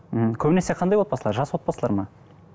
мхм көбінесе қандай отбасылар жас отбасылар ма